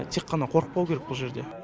тек қана қорықпау керек бұ жерде